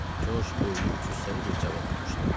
Corc böyüyüb cüssəli bir cavan olmuşdu.